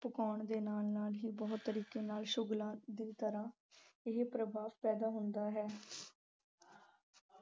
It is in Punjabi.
ਦੇ ਨਾਲ-ਨਾਲ ਹੀ ਬਹੁਤ ਤਰੀਕੇ ਨਾਲ ਸ਼ੁਗਲਾ ਦੀ ਤਰ੍ਹਾਂ ਇਹ ਪ੍ਰਭਾਵ ਪੈਂਦਾ ਹੁੰਦਾ ਹੈ।